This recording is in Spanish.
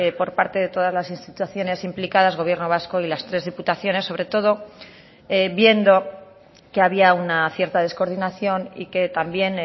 por parte de todas las instituciones implicadas gobierno vasco y las tres diputaciones sobre todo viendo que había una cierta descoordinación y que también